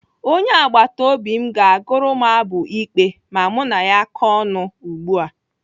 Onye agbataobi m ga-agụrụ m abụ ikpe ma mụ na ya kọọ ọnụ ugbu a.